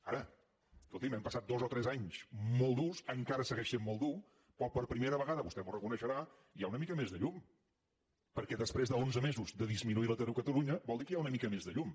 ara escolti’m hem passat dos o tres anys molt durs encara segueix sent molt dur però per primera vegada vostè m’ho reconeixerà hi ha una mica més de llum perquè després d’onze mesos de disminuir l’atur a catalunya vol dir que hi ha una mica més de llum